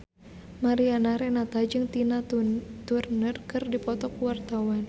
Mariana Renata jeung Tina Turner keur dipoto ku wartawan